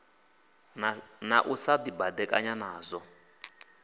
na u sa dibadekanya nazwo